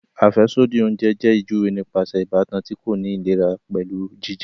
Afẹsodi oúnjẹ jẹ ijuwe nípasẹ ìbátan ti ko ni ìlera pẹlu jijẹ